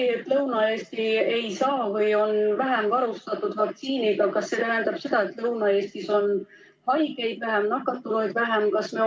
Kas see, et Lõuna-Eesti on vaktsiiniga vähem varustatud, tähendab seda, et Lõuna-Eestis on haigeid ja nakatunuid vähem?